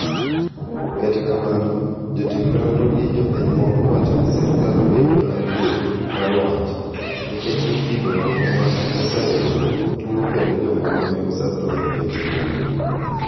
Kata kamano jotim nonro gi jopiny moko wacho ni serkal bando adier mar wach ,nikech nitie jomoko mane osayudo tuwo kendo jomoko ne osadho nikech tuwono.